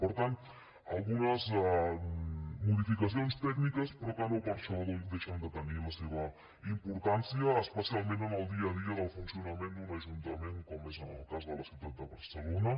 per tant algunes modificacions tècniques però que no per això deixen de tenir la seva importància especialment en el dia a dia del funcionament d’un ajuntament com és en el cas de la ciutat de barcelona